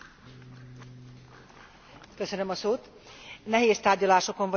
Nehéz tárgyalásokon vagyunk túl, nagyrészt elégedettek lehetünk az eredménnyel is.